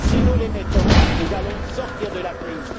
Si nous les mettons en œuvre, nous allons sortir de la crise.